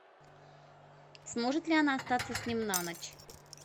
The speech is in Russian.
сможет ли она остаться с ним на ночь